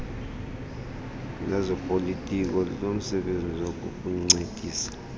lezopolitiko linomsebenzi wokukuncedisa